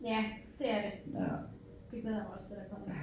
Ja det er det. Det glæder jeg mig også til der kommer